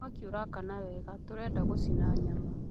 Mwaki ũraakana wega, tũrenda gũcina nyama